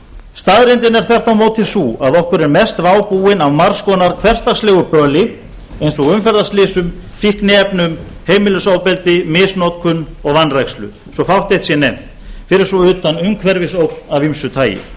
staðreyndin er þvert á móti sú að okkur er mest vá búin af margs konar hversdagslegu böli eins og umferðarslysum fíkniefnum heimilisofbeldi misnotkun og vanrækslu svo fátt eitt sé nefnt fyrir svo utan umhverfisógn að ýmsu tagi